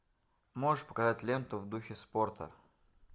можешь показать ленту в духе спорта